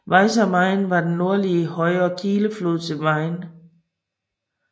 Weißer Main er den nordlige højre kildeflod til Main